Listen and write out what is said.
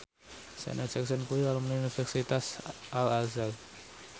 Janet Jackson kuwi alumni Universitas Al Azhar